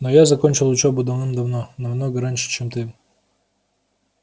но я закончил учёбу давным-давно намного раньше чем ты